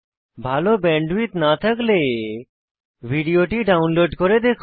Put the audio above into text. ভাল ব্যান্ডউইডথ না থাকলে ভিডিওটি ডাউনলোড করে দেখুন